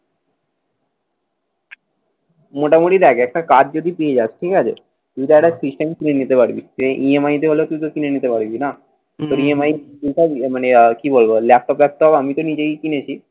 মোটামুটি দেখ একটা কাজ যদি পেয়ে যাস, ঠিক আছে। তুইতো একটা system কিনে নিতে পারবি। এই EMI তে হলেও তুইতো কিনে নিতে পারবি না? তোর EMI মানে কি বলব ল্যাপটপ ফেপটপ আমি তো নিজেই কিনেছি।